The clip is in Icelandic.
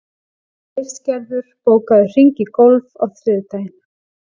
Æsgerður, bókaðu hring í golf á þriðjudaginn.